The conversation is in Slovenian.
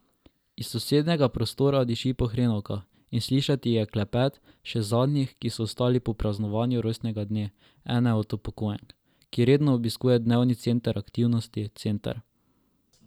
Iz sosednjega prostora diši po hrenovkah in slišati je klepet še zadnjih, ki so ostali po praznovanju rojstnega dne ene od upokojenk, ki redno obiskuje Dnevni center aktivnosti Center.